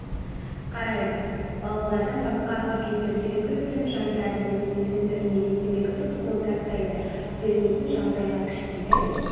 қарайды балалардан басқа үлкендер терек үлпілін жандырады немесе сөндірілмеген темекі тұқылын тастайды түзелмейтін жағдайға кішкентай